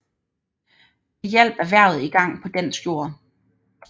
Det hjalp erhvervet i gang på dansk jord